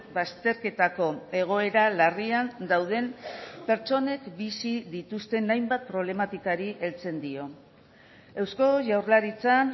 bazterketako egoera larrian dauden pertsonek bizi dituzten hainbat problematikari heltzen dio eusko jaurlaritzan